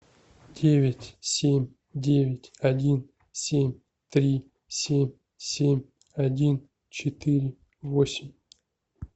девять семь девять один семь три семь семь один четыре восемь